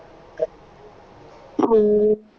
ਅਮ